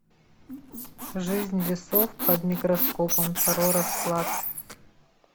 жизнь весов под микроскопом второй расклад